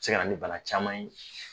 Se ka na ni bana caman ye.